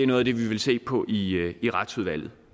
noget af det vi vil se på i retsudvalget